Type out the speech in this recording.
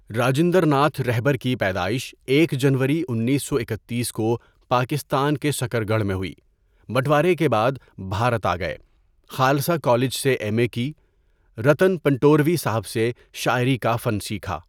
راجندر ناتھ رہبر کی پیدائش ایک جنوری، انیس سو اکتیس کو پاکستان کے سکرگڑھ میں ہوئی، بٹوارے کے باد بھارت آ گئے، خالسہ کالج سے ایم اے کی٬ رتن پنڑوروی ساحب سے شاعری کا فن سیکھا۔